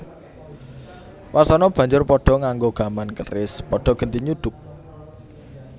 Wasana banjur padha nganggo gaman keris padha genti nyuduk